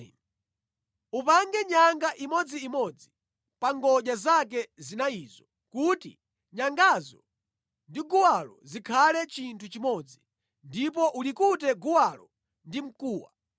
Upange nyanga imodziimodzi pa ngodya zake zinayizo kuti nyangazo ndi guwalo zikhale chinthu chimodzi, ndipo ulikute guwalo ndi mkuwa.